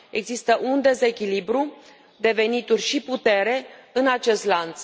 Există un dezechilibru de venituri și putere în acest lanț.